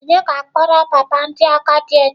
Onye ga-akpọrọ papa ndị agadi echi?